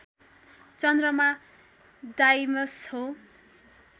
चन्द्रमा डाइमस हो